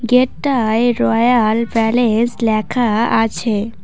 এটায় royal palace ল্যাখা আছে।